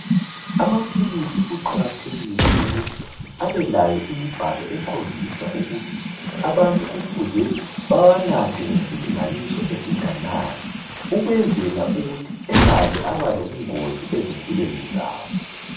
Amaphilisi kuqakathekile ukuthi abelayo imibhalo ekhombisa ukuthi abantu kufuze bawanathe ngesilinganiso esinganani ukwenzela ukuthi engaze abalobungozi ezimpilweni zabo